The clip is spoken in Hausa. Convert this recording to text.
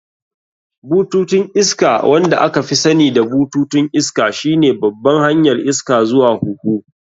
Bututun iska, wanda aka fi sani da bututun iska, shine babban hanyar iska zuwa huhu.